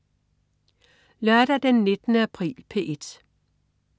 Lørdag den 19. april - P1: